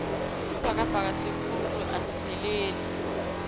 isibhakabhaka sikhulu asipheleli